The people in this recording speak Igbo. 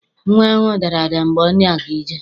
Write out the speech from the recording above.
Nnwa ahụ dara ada mgbe ọ na-aga ije.